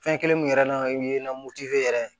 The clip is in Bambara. Fɛn kelen min yɛrɛ n'a o ye na moti yɛrɛ ye